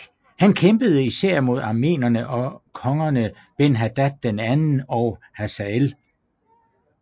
Han kæmpede især mod arameerne og kongerne Ben Hadad II og Hasael